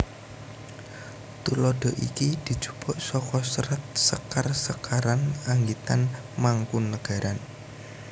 Tuladha iki dijupuk saka Serat Sekar sekaran anggitan Mangkunegaran